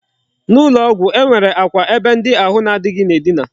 N'ụlọ ọgwụ, e nwere akwa ebe ndị ahụ na adịghị na-edina.